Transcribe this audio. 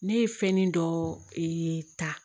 Ne ye fɛnnin dɔ ee ta